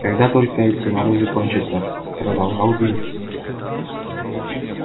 когда только эти морозы кончатся продолжал билл